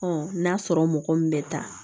n'a sɔrɔ mɔgɔ min bɛ taa